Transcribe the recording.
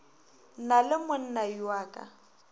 na le monnayo a ka